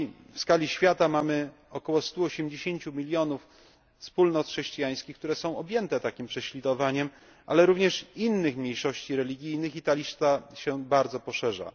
W skali świata mamy około 180 milionów wspólnot chrześcijańskich, które są objęte takim prześladowaniem, ale również innych mniejszości religijnych i ta lista się bardzo poszerza.